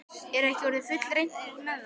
Er ekki orðið fullreynt með það?